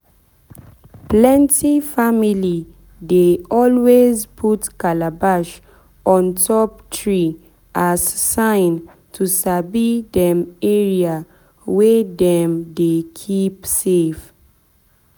plenty family dey always put calabash on top tree as sign to sabi dem area wey dem dey keep safe.